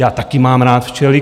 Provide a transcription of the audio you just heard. Já taky mám rád včely.